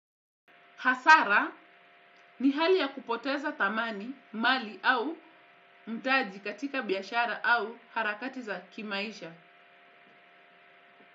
Hasara ni hali ya kupoteza dhamani, mali au mtaji katika biashara au harakati za kimaisha.